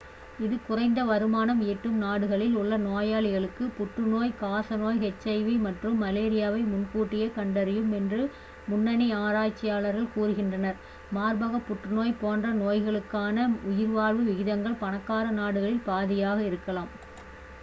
இது குறைந்த வருமானம் ஈட்டும் நாடுகளில் உள்ள நோயாளிகளுக்கு புற்றுநோய் காசநோய் எச்.ஐ.வி மற்றும் மலேரியாவை முன்கூட்டியே கண்டறியும் என்று முன்னணி ஆராய்ச்சியாளர்கள் கூறுகின்றனர் மார்பக புற்றுநோய் போன்ற நோய்களுக்கான உயிர்வாழ்வு விகிதங்கள் பணக்கார நாடுகளில் பாதியாக இருக்கலாம்